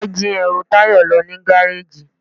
wọn jí ẹru Tayo lo ni garejí.